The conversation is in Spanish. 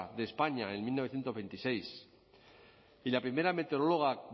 de españa en mil novecientos veintiséis y la primera meteoróloga